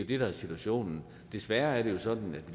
det der er situationen desværre er det sådan at